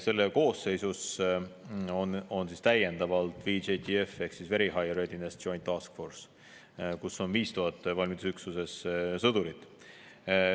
Selle koosseisus on täiendavalt VJTF ehk Very High Readiness Joint Task Force, kus on 5000 valmidusüksuse sõdurit.